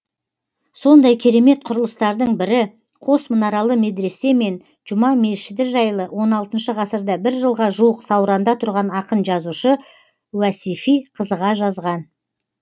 сондай керемет құрылыстардың бірі қос мұнаралы медресе мен жұма мешіті жайлы он алтыншы ғасырда бір жылға жуық сауранда тұрған ақын жазушы уәсифи қызыға жазған